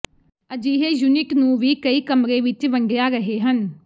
ਅਜਿਹੇ ਯੂਨਿਟ ਨੂੰ ਵੀ ਕਈ ਕਮਰੇ ਵਿੱਚ ਵੰਡਿਆ ਰਹੇ ਹਨ